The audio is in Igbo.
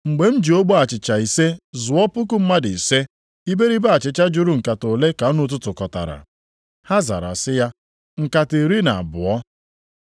Mgbe m ji ogbe achịcha ise zụọ puku mmadụ ise, iberibe achịcha juru nkata ole ka unu tụtụkọtara?” Ha zara sị ya, “Nkata iri na abụọ.”